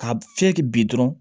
Ka fiyɛ bi dɔrɔn